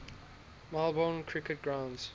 melbourne cricket ground